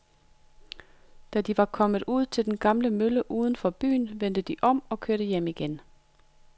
Da de var kommet ud til den gamle mølle uden for byen, vendte de om og kørte hjem igen.